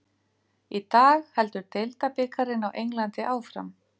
Í dag heldur deildabikarinn á Englandi áfram.